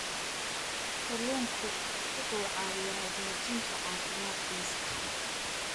Kalluunku wuxuu caawiyaa hagaajinta caafimaadka maskaxda.